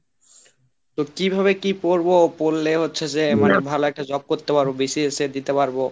তো কিভাবে কি পড়বো? পড়লে হচ্ছে যে মানে ভালো একটা job করতে পারব BCS দিতে পারব।